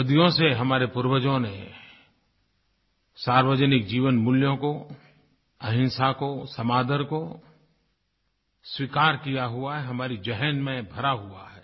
सदियों से हमारे पूर्वजों ने सार्वजनिक जीवनमूल्यों को अहिंसा को समादर को स्वीकार किया हुआ है हमारी ज़हन में भरा हुआ है